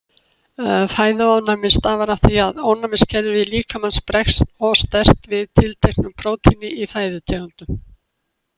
Fæðuofnæmi stafar af því að ónæmiskerfi líkamans bregst of sterkt við tilteknu prótíni í fæðutegundunum.